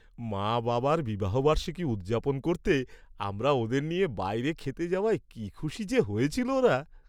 মা বাবার বিবাহবার্ষিকী উদযাপন করতে আমরা ওদের নিয়ে বাইরে খেতে যাওয়ায় কি খুশি যে হয়েছিল ওরা।